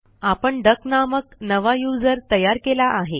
आपण डक नामक नवा यूझर तयार केला आहे